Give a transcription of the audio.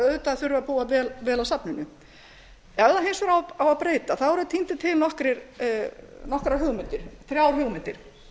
auðvitað þurfum við að búa vel að safninu ef það hins vegar á að breyta þá eru tíndar til nokkrar hugmyndir þrjár hugmyndir